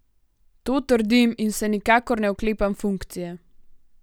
To trdim in se nikakor ne oklepam funkcije.